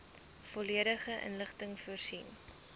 volledige inligting voorsien